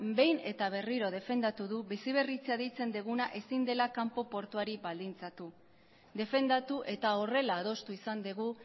behin eta berriro defendatu du biziberritzea deitzen duguna ezin dela kanpo portuari baldintzatu defendatu eta horrela adostu izan dugu